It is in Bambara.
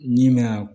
N'i mɛna